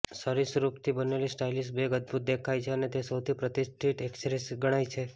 સરીસૃપથી બનેલી stylish bag અદભૂત દેખાય છે અને તે સૌથી પ્રતિષ્ઠિત એક્સેસરીઝ ગણાય છે